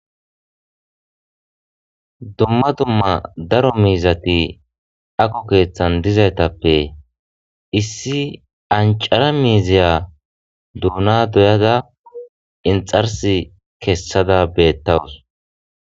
Dumma dumma daro miizathi aqo keeththan dizaythappe issi anccaame miizziya doonaa doyada inxxarssi kessada beeththawus.